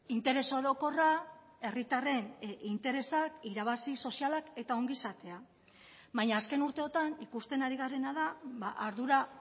interes orokorra herritarren interesak irabazi sozialak eta ongizatea baina azken urteotan ikusten ari garena da ardura